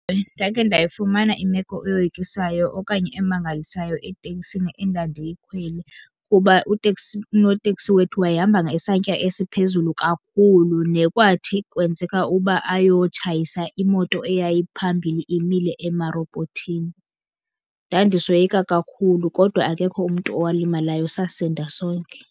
Ewe, ndake ndayifumana imeko eyoyikisayo okanye emangalisayo etekisini endandiyikhwele. Kuba uteksi, unoteksi wethu wayehamba ngesantya esiphezulu kakhulu nekwathi kwenzeka uba ayotshayisa imoto eyayiphambili imile emarobhothini. Ndandisoyika kakhul,u kodwa akekho umntu owalimalayo sasinda sonke.